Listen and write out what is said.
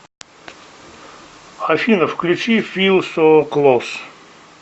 афина включи фил со клос